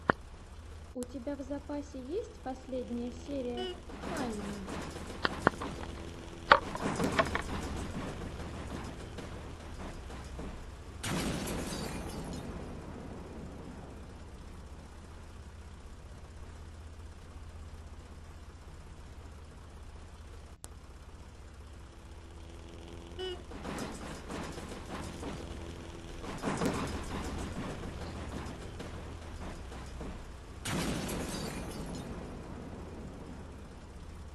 у тебя в запасе есть последняя серия хайми